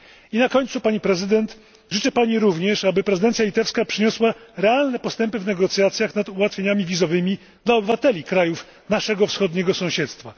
I na końcu, Pani Prezydent, życzę Pani również, aby prezydencja litewska przyniosła realne postępy w negocjacjach nad ułatwieniami wizowymi dla obywateli krajów naszego Wschodniego Sąsiedztwa.